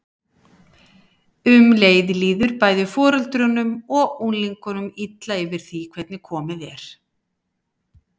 Um leið líður bæði foreldrunum og unglingunum illa yfir því hvernig komið er.